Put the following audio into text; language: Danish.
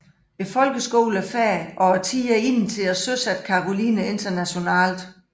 Folkeskolen er færdig og tiden er inde til at søsætte Caroline internationalt